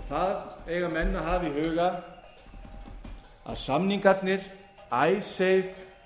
og það eiga menn að hafa í huga að samningarnir icesave